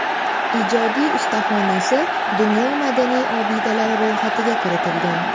Ijodiy ustaxonasi dunyo madaniy obidalari ro‘yxatiga kiritilgan.